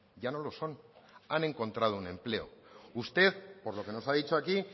ya no lo son han encontrado un empleo usted por lo que nos ha dicho aquí